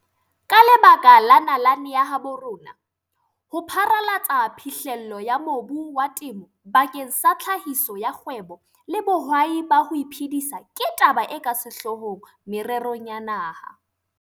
Ka lebaka la nalane ya habo rona, ho pharalatsa phihlello ya mobu wa temo bakeng sa tlhahiso ya kgwebo le bohwai ba ho iphedisa ke taba e ka sehlohlolong mererong ya naha.